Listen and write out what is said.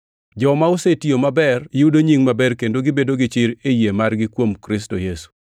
Joma osetiyo maber yudo nying maber kendo gibedo gi chir e yie margi kuom Kristo Yesu.